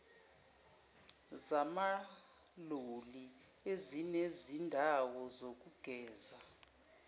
zamaloli ezinezindawo zokugeza